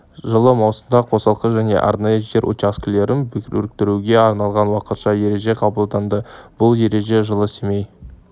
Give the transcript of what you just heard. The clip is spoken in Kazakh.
жылы маусымда қосалқы және арнайы жер учаскелерін біріктіруге арналған уақытша ереже қабылданды бұл ереже жылы семей